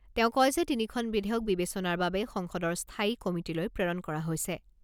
তেওঁ কয় যে তিনিখন বিধেয়ক বিবেচনাৰ বাবে সংসদৰ স্থায়ী কমিটীলৈ প্ৰেৰণ কৰা হৈছে।